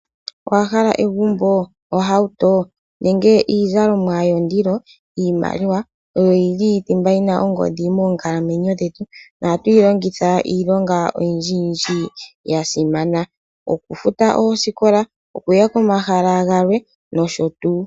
Owahala egumbo , ohauto nenge iizalomwa yondilo? Iimaliwa oyo yili thimba yina ongodhi mookalamwenyo dhetu. Ohatu yilongitha oyindji yindji yasimana. Okufuta oosikola , okuya komahala galwe no sho tuu.